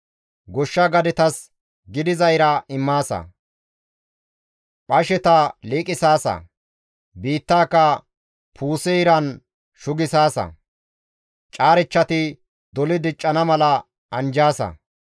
Goshsha gadetas gidiza ira immaasa; Phasheta liiqisaasa; biittaaka puuse iran shugisaasa; caarechchati doli diccana mala anjjaasa.